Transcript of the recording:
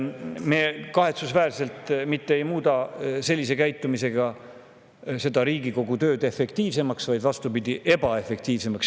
Me kahetsusväärselt mitte ei muuda sellise käitumisega Riigikogu tööd efektiivsemaks, vaid vastupidi, ebaefektiivsemaks.